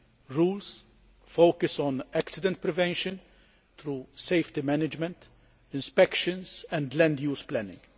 Rules focus on accident prevention, through safety management, inspections and land use planning.